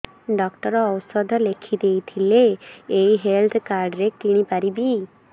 doctor ଔଷଧ ଲେଖିଦେଇଥିଲେ ଏଇ ହେଲ୍ଥ କାର୍ଡ ରେ କିଣିପାରିବି